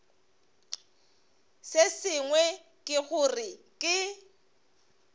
se sengwe ke gore ke